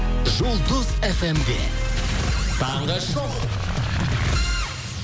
жұлдыз фм де таңғы шоу